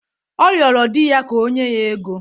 Ọ rịọrọ di ya ka o nye ya ego.